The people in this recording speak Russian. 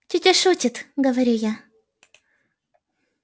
тётя шутит говорю я